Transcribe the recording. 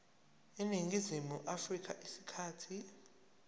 eningizimu afrika isikhathi